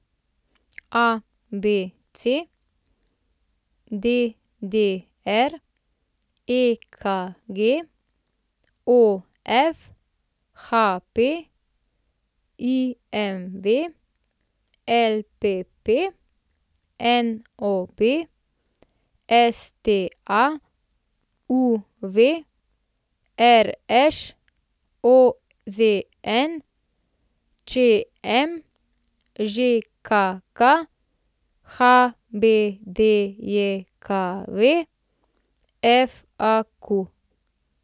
ABC, DDR, EKG, OF, HP, IMV, LPP, NOB, STA, UV, RŠ, OZN, ČM, ŽKK, HBDJKV, FAQ.